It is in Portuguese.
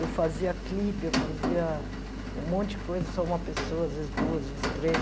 Eu fazia clipe, eu fazia um monte de coisa, só uma pessoa, às vezes duas, às vezes três.